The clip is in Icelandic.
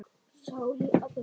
Ég mun sakna þín sárt.